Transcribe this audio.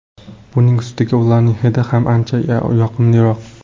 Buning ustiga ularning hidi ham ancha yoqimliroq!